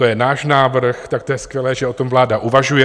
To je náš návrh, tak to je skvělé, že o tom vláda uvažuje.